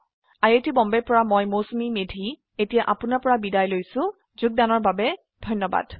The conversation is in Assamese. আই আই টী বম্বে ৰ পৰা মই মৌচুমী মেধী এতিয়া আপুনাৰ পৰা বিদায় লৈছো যোগদানৰ বাবে ধন্যবাদ